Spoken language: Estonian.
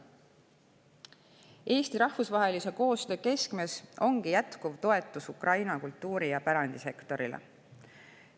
Eesti rahvusvahelise koostöö keskmes ongi jätkuv toetus Ukraina kultuuri‑ ja pärandisektorile.